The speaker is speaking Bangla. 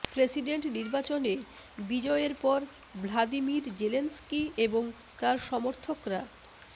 প্রেসিডেন্ট নির্বাচনে বিজয়ের পর ভ্লাদিমির জেলেনস্কি এবং তার সমর্থকরা